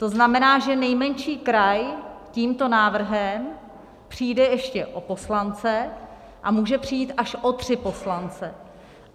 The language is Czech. To znamená, že nejmenší kraj tímto návrhem přijde ještě o poslance a může přijít až o tři poslance.